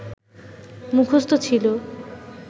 মুখস্থ ছিল